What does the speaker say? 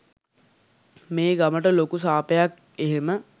මේ ගමට ලොකු සාපයක් එහෙම